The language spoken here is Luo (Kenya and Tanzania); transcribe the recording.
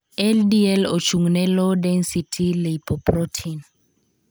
LDL' ochung' ne 'low density lipoprotein'.